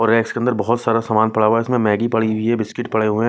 और रेक्स के अंदर बहोत सारा सामान पड़ा हुआ है इसमें मैगी पड़ी हुई है बिस्किट पड़े हुए--